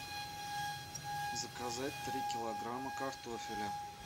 заказать три килограмма картофеля